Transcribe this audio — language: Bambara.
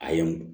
A ye n